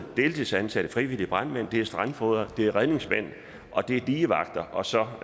deltidsansatte frivillige brandmænd strandfogder redningsmænd og digevagter og så